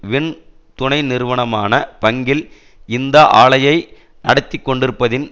win துணை நிறுவனமான பங்கில் இந்த ஆலையை நடத்தி கொண்டிருப்பதின்